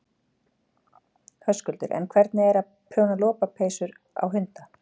Höskuldur: En hvernig er að, að prjóna lopapeysur á hunda?